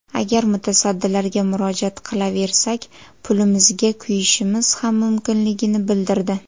Agar mutasaddilarga murojaat qilaversak, pulimizga kuyishimiz ham mumkinligini bildirdi.